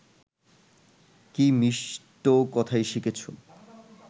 কী মিষ্ট কথাই শিখেছ